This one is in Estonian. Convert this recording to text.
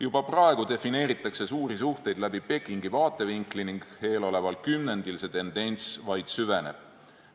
Juba praegu defineeritakse suuri suhteid läbi Pekingi vaatevinkli ning eeloleval kümnendil see tendents vaid süveneb.